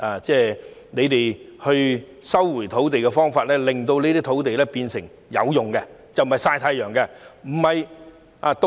政府收回土地的方法，令這些土地變得有用，不再"曬太陽"或閒置。